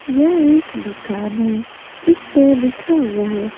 यह एक दुकान है जिस पे लिखा हुआ है।